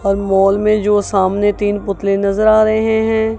और मॉल में जो सामने तीन पुतले नजर आ रहे हैं।